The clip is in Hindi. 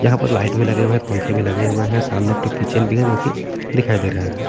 यहां पर लाइट भी लगे हुए हैं पंखे भी लगे हुए हैं सामने एक ठो किचन भी है जोकि दिखाई दे रहा है।